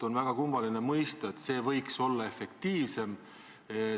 On väga raske mõista, kuidas see võiks efektiivne olla.